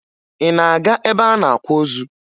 Ị na-aga ebe a na-akwa ozu?